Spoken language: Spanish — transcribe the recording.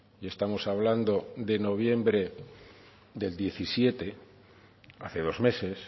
y estamos hablando de noviembre del diecisiete hace dos meses